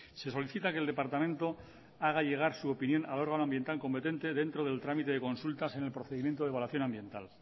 se solicita que el departamento haga llegar su opinión al órgano ambiental competente dentro del trámite de consultas en el procedimiento de evaluación ambiental